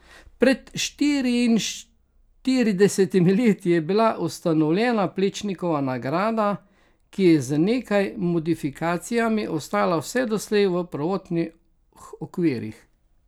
Pred štiriinštiridesetimi leti je bila ustanovljena Plečnikova nagrada, ki je z nekaj modifikacijami ostala vse doslej v prvotnih okvirih.